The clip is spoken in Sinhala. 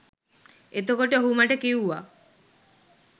එතකොට ඔහු මට කිව්වා